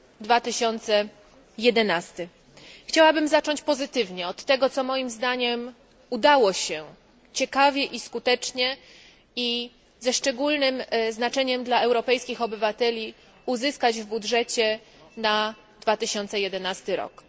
2011. Chciałabym zacząć pozytywnie od tego, co moim zdaniem udało się ciekawie i skutecznie, i ze szczególnym znaczeniem dla europejskich obywateli, uzyskać w budżecie na 2011 rok.